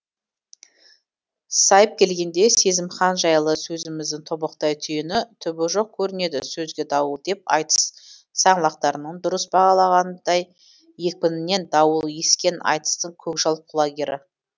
сайып келгенде сезімхан жайлы сөзіміздің тобықтай түйіні түбі жоқ көрінеді сөзге дауыл деп айтыс саңлақтарының дұрыс бағалағанындай екпінінен дауыл ескен айтыстың көкжал құлагері